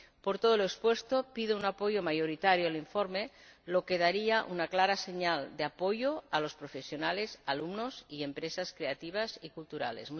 Por todo lo expuesto, pido un apoyo mayoritario al informe, lo que daría una clara señal de apoyo a los profesionales, alumnos y empresas creativas y culturales.